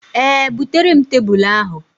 Ee, bụtere m tebụl ahụ.